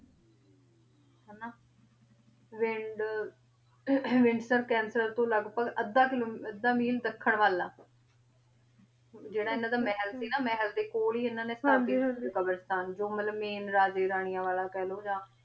wind windsel cancer ਤੋਂ ਲਾਗ ਭਾਗ ਆਧਾ ਕਿਲੋ ਆਧਾ ਮਿਲੇ ਦਖਣ ਵਾਲ ਆ ਜੇਰਾ ਇਨਾਂ ਦਾ ਮਹਲ ਸੀ ਨਾ ਮਹਲ ਦੇ ਕੋਲ ਈ ਇਨਾਂ ਨੇ ਹਾਂਜੀ ਹਾਂਜੀ ਕ਼ਾਬ੍ਰਾਸ੍ਤਾਨ ਜੋ ਮਤਲਬ ਮੈਂ ਰਾਜੇ ਰਾਨਿਯਾਂ ਵਾਲਾ ਕੇਹ੍ਲੋ ਯਾਨ